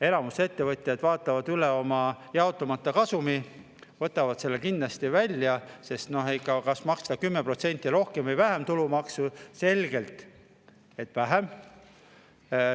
Enamik ettevõtjaid vaatab üle oma jaotamata kasumi, nad võtavad selle kindlasti välja, sest kui on valida, kas maksta 10% rohkem või vähem tulumaksu, siis on selge, et vähem.